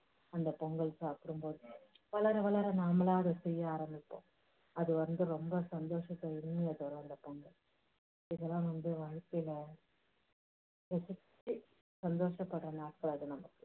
அந்த பொங்கல் சாப்பிடும் போது வளர வளர நாமளா அதை செய்ய ஆரம்பிப்போம். அது வந்து ரொம்ப சந்தோஷத்தை உண்மையா தரும் அந்த பொங்கல். இதெல்லாம் வந்து வாழ்க்கையில ரசிச்சு சந்தோஷப்படுற நாட்கள் அது நமக்கு.